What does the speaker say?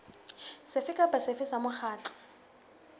sefe kapa sefe sa mokgatlo